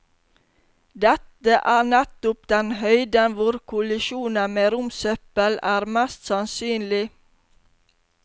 Dette er nettopp den høyden hvor kollisjoner med romsøppel er mest sannsynlig.